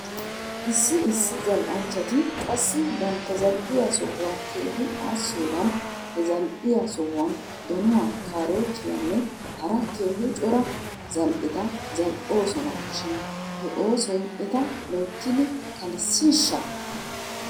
Issi issi zal'anchchati qassi bantta za'iyaa sohuwaa keehi aassiyoogan he zal'iyaa sohuwaan donuwaa kaarootiaanne hara keehi cora zal'eta zal'oosona shin he oosoy eta loyttidi kalssiishsha?